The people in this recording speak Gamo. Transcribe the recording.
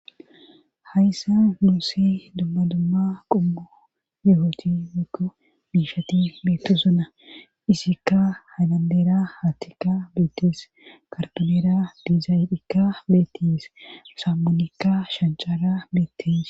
Hayssa nuussi dumma dumma qummu ye'oti miku biishati beettu suna isikka hadandera hattikka beettes kartonera dizayidhikka beettis sammonikka shanchara beettis